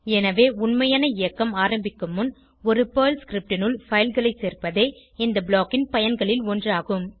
எனவே உண்மையான இயக்கம் ஆரம்பிக்கும் முன் ஒரு பெர்ல் scriptனுள் fileகளை சேர்ப்பதே இந்த ப்ளாக் ன் பயன்களில் ஒன்றாகும்